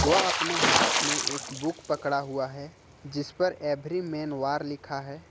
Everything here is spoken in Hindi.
वह अपने हाथ में एक बुक पकड़ा हुआ है जिस पर एवरी मैन वार लिखा है।